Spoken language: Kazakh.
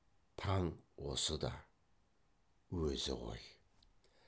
таң осы да өзі ғой